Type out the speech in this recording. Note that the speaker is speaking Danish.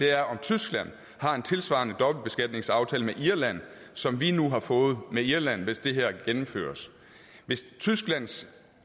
er om tyskland har en tilsvarende dobbeltbeskatningsaftale med irland som vi nu har fået med irland hvis det gennemføres hvis tysklands